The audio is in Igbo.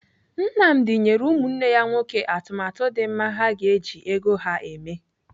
Nnamdi nyere ụmụnne ya nwoke atụmatụ dị mma ha ga-eji ego ha eme.